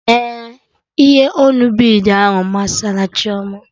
Ee, ihe onu bid ahụ masari Chioma